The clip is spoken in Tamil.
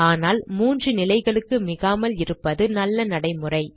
ஆனால் 3 நிலைகளுக்கு மிகாமல் இருப்பது நல்ல நடைமுறை